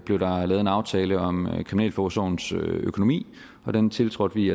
blev lavet en aftale om kriminalforsorgens økonomi og den tiltrådte vi